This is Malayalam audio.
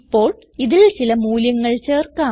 ഇപ്പോൾ ഇതിൽ ചില മൂല്യങ്ങൾ ചേർക്കാം